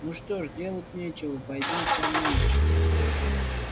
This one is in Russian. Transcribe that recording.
ну что ж делать нечего пойдём со мной